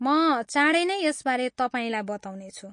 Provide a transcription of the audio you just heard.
म चाँडै नै यसबारे तपाईँलाई बताउनेछु।